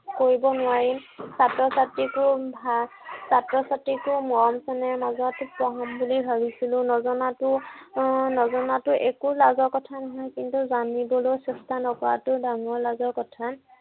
কৰিব নোৱাৰিম। ছাত্ৰ-ছাত্ৰীকো ভাল ছাত্ৰ-ছাত্ৰীকো মৰম চেনেহৰ মাজত পঢ়াম বুলি ভাবিছিলো। নজনাতো আহ নজনাতো একো লাজৰ কথা নহয়, কিন্তু জানিবলৈ চেষ্টা নকৰাতো ডাঙৰ লাজৰ কথা।